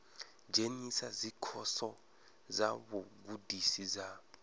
dzhenisa dzikhoso dza vhugudisi dza